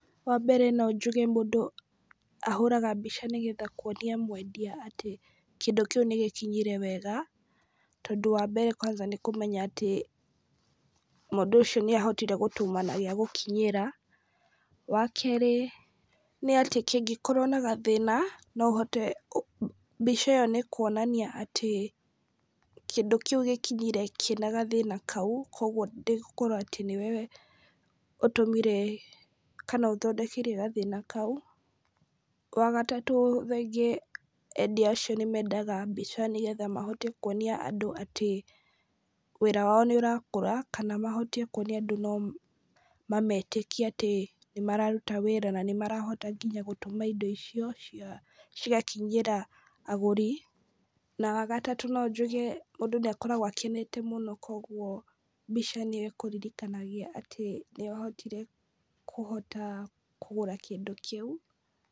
Wa mbere no njuge mũndũ ahũraga mbica nĩgetha kuonia mwendia atĩ, kĩndũ kĩu nĩgĩkinyire wega, tondũ wa mbere kwanja nĩkũmenya atĩ mũndũ ĩcio nĩ ahotire gũtũma na gĩa gũkinyira. Wa kerĩ nĩ atĩ kĩngĩkorwo na gathĩna, no ũhote, mbica ĩyo nĩ nĩ kwonania atĩ, kĩndũ kĩu gĩkinyire kĩna gathĩna kau, koguo ndĩgũkorwo atĩ nĩwe ũtũmire, kana ũthondekire gathĩna kau. Wa gatatũ, endia acio nĩ mendaga mbica nĩgetha mahote kwonia andũ atĩ wĩra wao nĩ ũrakũra, kana mahote kwonia andũ atĩ no mametĩkie atĩ nĩmararuta wĩra, na nĩ marahota nginya gũtũma indo icio cia, cigakinyĩra agũri, na wagatatũ no njuge , mũndũ nĩ akoragwo akenete mũno , koguo mbica nĩ ĩkũririkanagia atĩ nĩwahotire kũhota kũgũra kĩndũ kĩu.